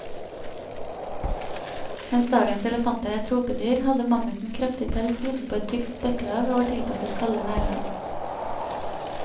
Mens dagens elefanter er tropedyr, hadde mammuten kraftig pels utenpå et tykt spekklag, og var tilpasset kalde værlag.